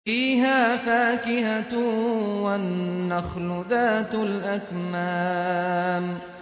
فِيهَا فَاكِهَةٌ وَالنَّخْلُ ذَاتُ الْأَكْمَامِ